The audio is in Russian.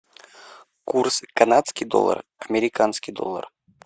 курс канадский доллар американский доллар